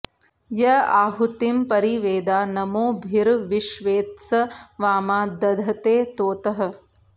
य आहु॑तिं॒ परि॒ वेदा॒ नमो॑भि॒र्विश्वेत्स वा॒मा द॑धते॒ त्वोतः॑